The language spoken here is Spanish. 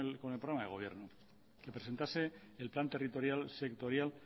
con el programa de gobierno que presentase el plan territorial sectorial